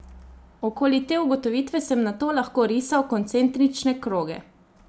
Okoli te ugotovitve sem nato lahko risal koncentrične kroge.